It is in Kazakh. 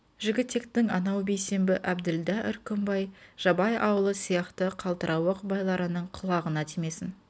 жігітектің анау бейсенбі әбділда үркімбай жабай аулы сияқты қалтырауық байларының құлағына тимесін